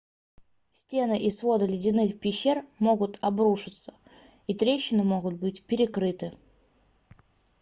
стены и своды ледяных пещер могут обрушиться и трещины могут быть перекрыты